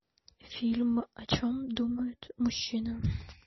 фильм о чем думают мужчины